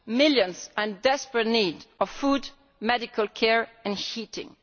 Millions are in desperate need of food, medical care and heating.